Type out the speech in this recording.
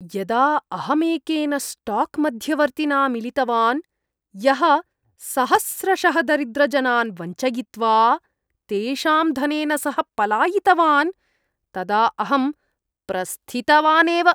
यदा अहमेकेन स्टाक् मध्यवर्तिना मिलितवान्, यः सहस्रशः दरिद्रजनान् वञ्चयित्वा तेषां धनेन सह पलायितवान्, तदा अहं प्रस्थितवानेव।